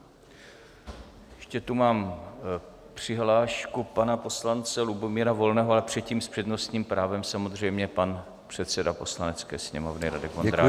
Ještě tu mám přihlášku pana poslance Lubomíra Volného, ale předtím, s přednostním právem, samozřejmě, pan předseda Poslanecké sněmovny Radek Vondráček.